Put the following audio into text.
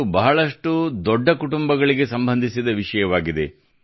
ಇದು ಬಹಳಷ್ಟು ದೊಡ್ಡ ಕುಟುಂಬಗಳಿಗೆ ಸಂಬಂಧಿಸಿದ ವಿಷಯವಾಗಿದೆ